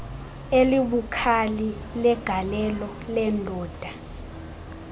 elibukhali legalelo lendalo